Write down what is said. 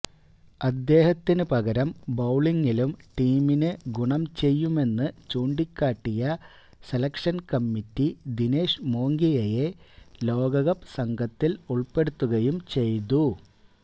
അദ്ദേഹത്തിനു പകരം ബൌളിങിലും ടീമിന് ഗുണം ചെയ്യുമെന്ന് ചൂണ്ടിക്കാട്ടിയ സെലക്ഷന് കമ്മിറ്റി ദിനേഷ് മോംഗിയയെ ലോകകപ്പ് സംഘത്തില് ഉള്പ്പെടുത്തുകയും ചെയ്തു